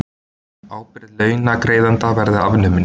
Ábyrgð launagreiðanda verði afnumin